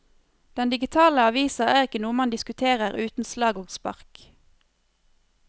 Den digitale avisa er ikke noe man diskuterer uten slag og spark.